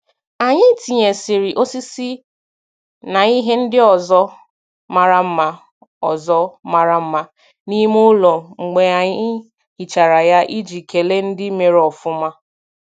Anyị tinyesiri osisi na ihe ndị ọzọ mara mma ọzọ mara mma n'ime ụlọ mgbe anyị hichara ya iji kelee ndị mere ofuma.